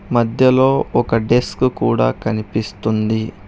మధ్యలో ఒక డిస్క్ కూడా కనిపిస్తుంది.